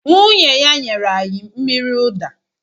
Nwunye ya nyere anyị mmiri ụda